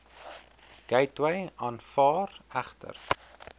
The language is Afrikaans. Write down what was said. gateway aanvaar egter